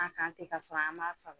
An k'an te kasɔrɔ an m'a faga